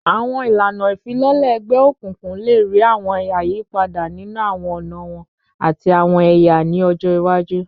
Awọn ilana ifilọlẹ egbeokunkun le rii awọn ayipada ninu awọn ọna wọn ati awọn ẹya ni ọjọ iwaju